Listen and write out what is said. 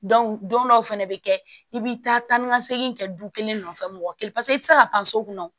don dɔw fɛnɛ bɛ kɛ i bɛ taa ni ka segin kɛ du kelen nɔfɛ mɔgɔ kelen paseke i tɛ se ka pan so kɔnɔ